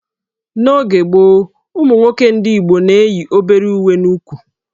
N'oge gboo, ụmụ nwoke ndị Igbo na-eyi obere uwe n'úkwù